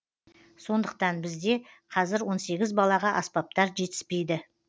сондықтан бізде қазір он сегіз балаға аспаптар жетіспейді